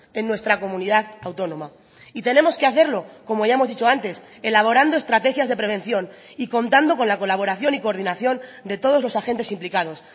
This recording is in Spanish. en nuestra comunidad autónoma y tenemos que hacerlo como ya hemos dicho antes elaborando estrategias de prevención y contando con la colaboración y coordinación de todos los agentes implicados